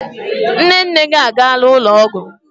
Nne nne gị a gaala ụlọ ọgwụ.